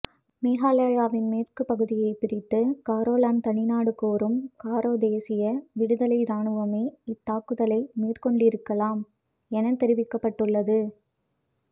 மேகாலாயாவின் மேற்கு பகுதியை பிரித்து காரோலாந்த் தனிநாடு கோரும் காரோ தேசிய விடுதலை ராணுவமே இத்தாக்குதலை மேற்கொண்டிருக்கலாம் என தெரிவிக்கப்பட்டுள்ளது